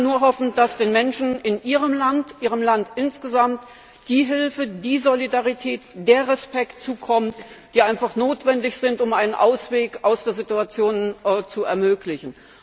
Ich kann nur hoffen, dass den Menschen in Ihrem Land insgesamt die Hilfe, die Solidarität und der Respekt zukommen, die einfach notwendig sind, um einen Ausweg aus der Situation zu ermöglichen.